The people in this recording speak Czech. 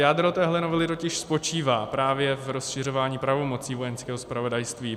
Jádro téhle novely totiž spočívá právě v rozšiřování pravomocí Vojenského zpravodajství.